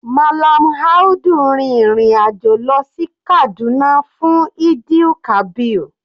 Mallam Audu rin ìrìn àjò lọ sí Kaduna fún Eid-el-kabir.